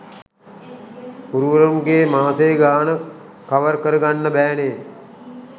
ගුරුවරුන්ගේ මාසේ ගාන කවර් කරගන්න බෑ නේ.